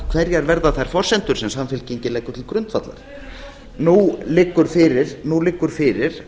hverjar verða þær forsendur sem samfylkingin leggur til grundvallar nú liggur fyrir